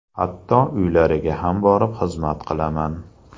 Hatto uylariga ham borib xizmat qilaman.